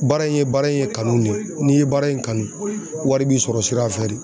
Baara in ye baara in ye kanu de ye, n'i ye baara in kanu wari b'i sɔrɔ sira fɛ de.